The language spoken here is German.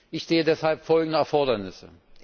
Ich sehe deshalb folgende Erfordernisse.